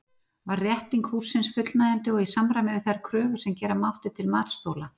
Var rétting hússins fullnægjandi og í samræmi við þær kröfur sem gera mátti til matsþola?